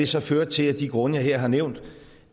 så førte til af de grunde jeg her har nævnt